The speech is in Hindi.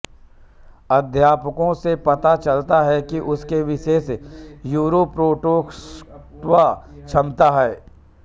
अध्ययनों से पता चलता है कि इसमें विशेष न्यूरोप्रोटेक्टेव क्षमता है